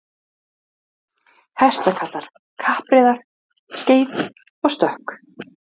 Þá höfðu þau piltinn í burt með sér og kölluðu hann Helga magra.